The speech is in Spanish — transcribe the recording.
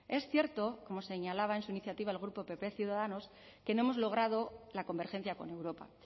es cierto como señalaba en su iniciativa el grupo pp ciudadanos que no hemos logrado la convergencia con europa